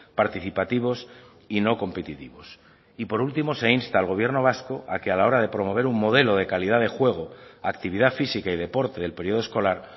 participativos y no competitivos y por último se insta al gobierno vasco a que a la hora de promover un modelo de calidad de juego actividad física y deporte del periodo escolar